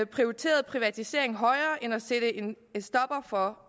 prioriterede privatisering højere end det at sætte en stopper for